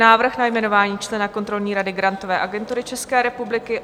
Návrh na jmenování člena kontrolní rady Grantové agentury České republiky